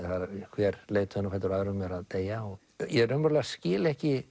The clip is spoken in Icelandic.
hver leiðtoginn á fætur öðrum eru að deyja og ég raunverulega skil ekki